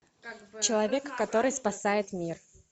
человек который спасает мир